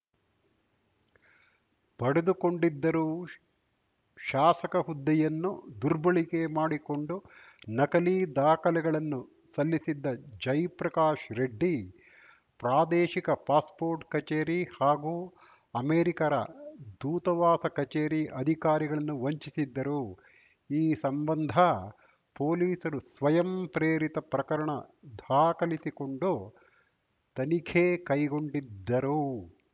ಪಡೆದುಕೊಂಡಿದ್ದರು ಶ್ ಶಾಸಕ ಹುದ್ದೆಯನ್ನು ದುರ್ಬಳಕೆ ಮಾಡಿಕೊಂಡು ನಕಲಿ ದಾಖಲೆಗಳನ್ನು ಸಲ್ಲಿಸಿದ್ದ ಜಯಪ್ರಕಾಶ್‌ ರೆಡ್ಡಿ ಪ್ರಾದೇಶಿಕ ಪಾಸ್‌ಪೋರ್ಟ್‌ ಕಚೇರಿ ಹಾಗೂ ಅಮೆರಿಕರ ದೂತಾವಾಸ ಕಚೇರಿ ಅಧಿಕಾರಿಗಳನ್ನು ವಂಚಿಸಿದ್ದರು ಈ ಸಂಬಂಧ ಪೊಲೀಸರು ಸ್ವಯಂ ಪ್ರೇರಿತ ಪ್ರಕರಣ ಧಾಖಲಿಸಿಕೊಂಡು ತನಿಖೆ ಕೈಗೊಂಡಿದ್ದರು